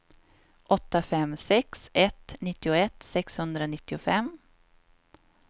åtta fem sex ett nittioett sexhundranittiofem